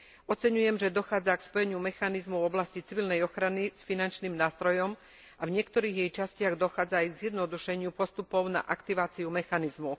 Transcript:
Oceňujem, že dochádza k spojeniu mechanizmov v oblasti civilnej ochrany s finančným nástrojom a v niektorých jej častiach dochádza aj k zjednodušeniu postupov na aktiváciu mechanizmu.